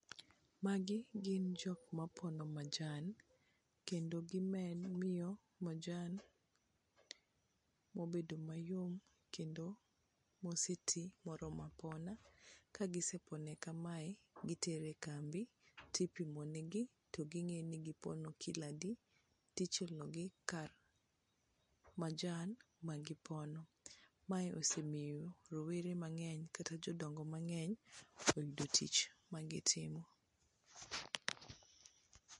Magi gin jok mapono majan, kendo gimiyo majan mobedo mayom kendo moseti moromo apona. Kagisepone kamae, gitere e kambi tipimo negi to ging'e ni gipono kilo adi, tichulogi kar majan magipono. Mae osemiyo rowere mang'eny kata jodongo mang'eny oyudo tich magitimo.